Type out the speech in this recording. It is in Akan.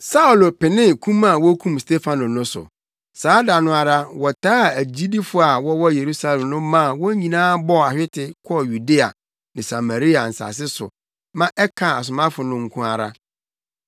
Saulo penee kum a wokum Stefano no so. Saa da no ara, wɔtaa agyidifo a wɔwɔ Yerusalem no maa wɔn nyinaa bɔɔ ahwete kɔɔ Yudea ne Samaria nsase so ma ɛkaa asomafo no nko ara.